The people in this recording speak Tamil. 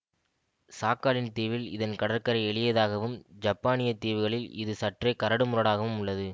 சாக்காலின் தீவில் இதன் கடற்கரை எளியதாகவும் ஜப்பானியத் தீவுகளில் இது சற்றே கரடுமுரடாகவும் உள்ளது